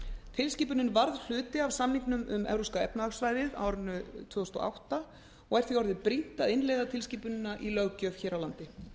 tilskipunin varð hluti af samningnum um evrópska efnahagssvæðið á árinu tvö þúsund og átta og er því orðið brýnt að innleiða tilskipunina í löggjöf hér á landi